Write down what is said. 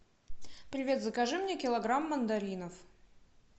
привет закажи мне килограмм мандаринов